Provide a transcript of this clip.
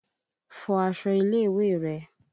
Fọ aṣọ ilé ìwé rẹ̀!